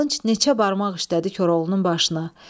Qılınc neçə barmaq işlədi Koroğlunun başına.